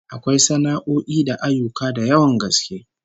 Akwai sana'o'i da ayyuka da yawan gaske